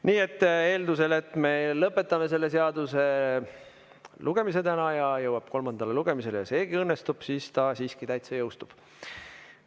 Nii et eeldusel, et me lõpetame selle seaduse lugemise täna ja ta jõuab kolmandale lugemisele ja seegi õnnestub, siis ta siiski täitsa jõustub.